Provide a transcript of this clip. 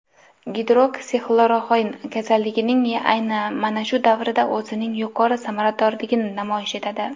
Gidroksixloroxin kasallikning ayni mana shu davrida o‘zining yuqori samaradorligini namoyish etadi.